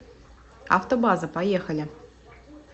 автобаза поехали